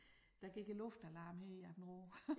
Der gik æ luftalarm her i Aabenraa